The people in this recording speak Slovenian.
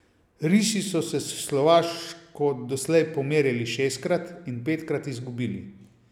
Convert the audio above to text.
Risi so se s Slovaško doslej pomerili šestkrat in petkrat izgubili.